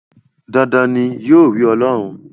Dandan ni, yóò rí Ọlọ́run.